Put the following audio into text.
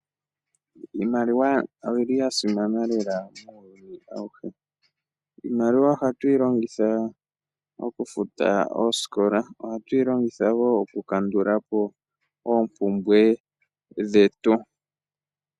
Iimaliwa oyili yasimana lela muuyuni auhe, iimaliwa ohatu yi longitha okufuta oosikola, ohatu yi longitha wo oku kandula po oopumbwe dhetu.